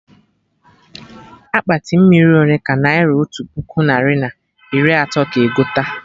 Akpati mmiri ole ka naira otu puku narị na iri atọ ga egote?